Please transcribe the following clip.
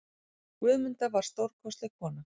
Guðmunda var stórkostleg kona.